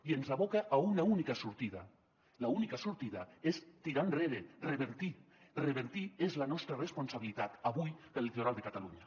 i ens aboca a una única sortida l’única sortida és tirar enrere revertir revertir és la nostra responsabilitat avui per al litoral de catalunya